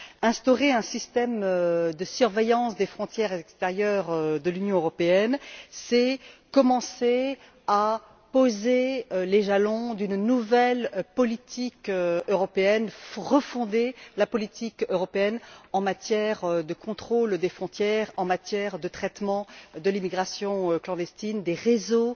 Instaurer un système de surveillance des frontières extérieures de l'Union européenne, c'est commencer à poser les jalons d'une nouvelle politique européenne, c'est refonder la politique européenne en matière de contrôle des frontières, en matière de traitement de l'immigration clandestine, des réseaux